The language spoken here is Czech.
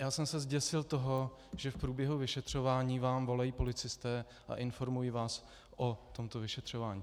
Já jsem se zděsil toho, že v průběhu vyšetřování vám volají policisté a informují vás o tomto vyšetřování.